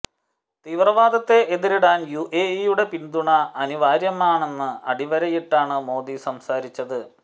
തീവ്രവാദത്തെ എതിരിടാൻ യുഎഇയുടെ പിന്തുണ അനിവാര്യമാണെന്ന് അടിവരയിട്ടാണ് മോദി സംസാരിച്ചത്